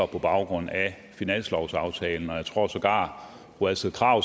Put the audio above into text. på baggrund af finanslovsaftalen jeg tror sågar fru astrid krag